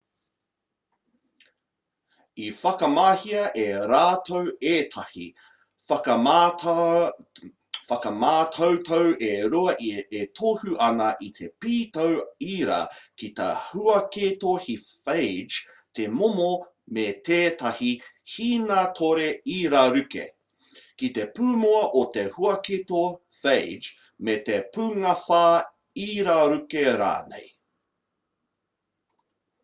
i whakamahia e rātau ētahi whakamātautau e rua e tohu ana i te pītau ira ki te huaketo he phage te momo me tētahi hīnātore iraruke ki te pūmua o te huaketo phage me te pūngāwhā iraruke rānei